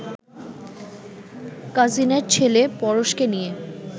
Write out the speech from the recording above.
কাজিনের ছেলে পরশকে নিয়ে